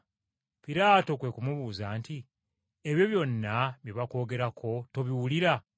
Piraato kwe ku mubuuza nti, “Ebyo byonna bye bakwogerako tobiwulira?”